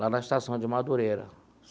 Lá na estação de Madureira.